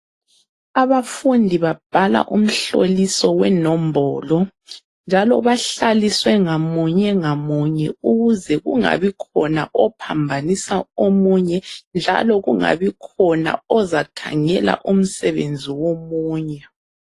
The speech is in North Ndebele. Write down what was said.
Abafundi babhala umhloliso wenombolo njalo bahlaliswe ngamunye ngamunye ukuze kungabi khona ophambanisa omunye njalo kungabi khona ozakhangela umsebenzi womunye.